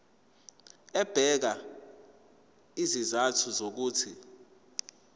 ebeka izizathu zokuthi